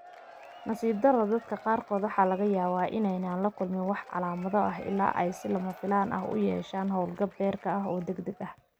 Nasiib darro, dadka qaarkood waxaa laga yaabaa in aanay la kulmin wax calaamado ah ilaa ay si lama filaan ah u yeeshaan hawlgab beerka oo degdeg ah.